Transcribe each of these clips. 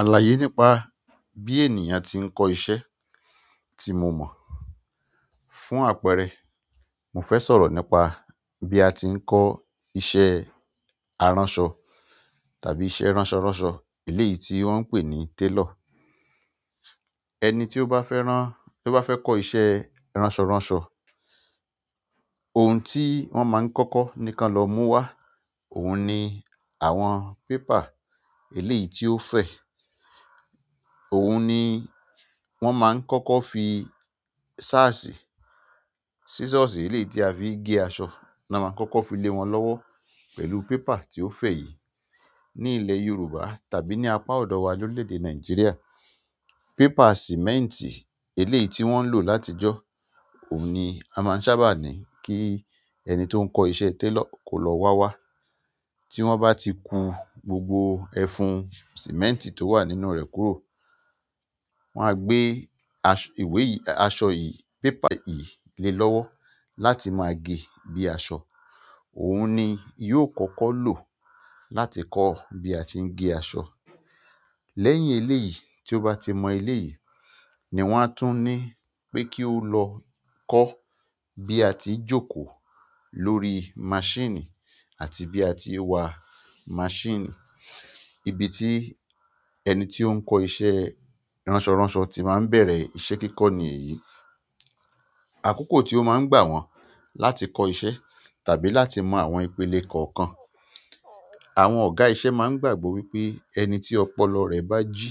Àlàyé nípa bí ènìyàn ti ń kọ́ iṣẹ́ tí mo mọ̀. Fún àpẹẹrẹ, mo fẹ́ sọ̀rọ̀ nípa bí a ti ń kọ́ iṣẹ́ aranso tàbí iṣẹ́ ranso ranso eleyii ti won n pe ni tailor. Ẹni tí ó bá fẹ́ rán-- tí ó bá fẹ́ kọ́ iṣẹ́ ránṣọránṣọ, ohun tí wọ́n máa ń kọ́kọ́ ni kí ẹ lọ mú wá, òun ni àwọn paper eléyìí tí ó fẹ̀. Òun ni wọ́n máa ń kọ́kọ́ fi ṣáàsì, sísọ̀sì eléyìí tí a fi ń gé aṣọ náà ma kọ́kọ́ fi lé wọn lọ́wọ́ pẹ̀lú pépà tí ó fẹ̀ yìí. Ní ilẹ̀ Yorùbá tàbí ní apá ọ̀dọ́ wa lórílẹ̀ èdè Nàìjíríà, paper sìmẹ́ǹtì eléyìí tí wọ́n ń lò látijọ́ òun ni a máa ń sábà ní kí ẹni tó ń kọ́ iṣẹ́ tailor kó lọ wá wá. Tí wọ́n bá ti kun gbogbo ẹfun sìmẹ́ǹtì tó wà nínú rẹ̀ kúrò, wọ́n á gbé ìwé yìí, aṣọ yìí, paper yìí lé lọ́wọ́ láti máa gé bí i aṣọ. Òun ni yóò kọ́kọ́ lò láti kọ́ bí a ti ń gé aṣọ. Lẹ́yìn eléyìí, tí ó bá ti mọ eléyìí ni wọ́n á tún ní pé kí ó lọ kọ́ bí a ti ń jókòó lórí maṣínì àti bí a ti ń wa maṣínì. Ibi tí ẹni tí ó ń kọ́ iṣẹ́ ránṣọránṣọ tí máa ń bẹ̀rẹ̀ iṣẹ́ kíkọ́ ni èyí. Àkókò tí ó máa ń gbà wọ́n láti kọ́ iṣẹ́ tàbí láti mọ àwọn ìpele kọ̀ọ̀kan, àwọn ọ̀gá iṣẹ́ máa ń gbàgbọ́ wípé ẹni tí ọpọlọ rẹ̀ bá jí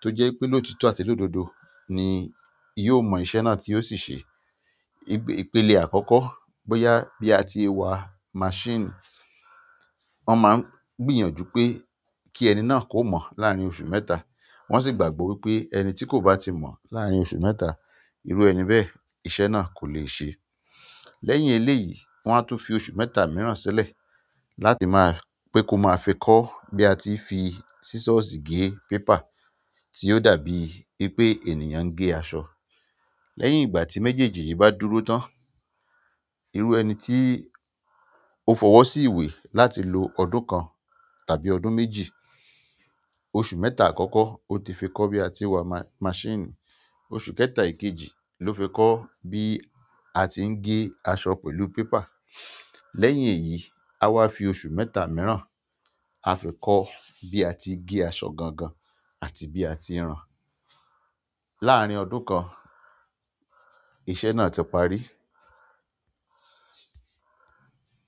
tó jẹ́ pé lótito àti lọ̀dọ̀dọ́ ni yóò mọ iṣẹ́ náà tí yóò sì ṣe. Ìpele àkọ́kọ́ bóyá bí a ti ń wa maṣínì, wọ́n máa ń gbìyànjú pé kí ẹni náà kó mọ láàárín oṣù mẹ́ta. Wọ́n sì gbàgbọ́ wípé ẹni tí kò bá ti mọ láàárín oṣù mẹ́ta, irú ẹni bẹ́ẹ̀ iṣẹ́ náà kò le ṣe. Lẹ́yìn eléyìí, wọ́n á tún fi oṣù mẹ́ta mìíràn sílẹ̀ láti máa-- pé kó máa fi kó bí a ti ń fi sísọ̀sì gé paper tí yoó dàbí wipé ènìyàn ń gé aṣọ. Lẹ́yìn ìgbà tí méjèèjì yìí bá dúró tán, irú ẹni tí ó fọwọ́ sí ìwé láti lo ọdún kan tàbí ọdún méjì, oṣù mẹ́ta àkọ́kọ́ ó ti fi kọ́ bí a ti ń wa maṣínì, oṣù kẹta ìkejì ló fi kọ́ bí a ti ń gé aṣọ pẹ̀lú paper. Lẹ́yìn èyí, a wá fi oṣù mẹ́ta mìíràn a fi kọ́ bí a ti ń gé aṣọ gangan àti bí a ti ń ran. Laarin ọdún kan iṣẹ́ na ti parí.